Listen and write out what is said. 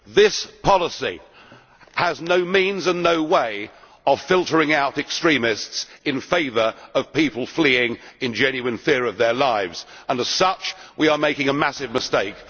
This policy has no means and no way of filtering out extremists in favour of people fleeing in genuine fear of their lives, and, as such, we are making a massive mistake.